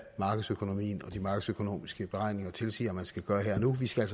markedsøkonomien og de markedsøkonomiske beregninger tilsiger man skal gøre her og nu vi skal